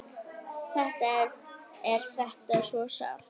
Þetta er þetta svo sárt!